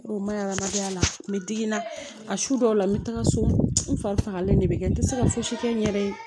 O ma hadamadenya la n bɛ digi n na a su dɔw la n bɛ taga so n fagalen de bɛ kɛ n tɛ se ka fosi kɛ n yɛrɛ ye